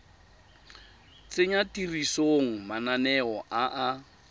tsenya tirisong mananeo a a